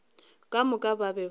ka moka ba be ba